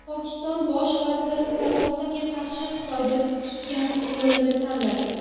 Pokiston bosh vaziri korrupsiyaga qarshi Xitoy tutgan yo‘lni tanladi.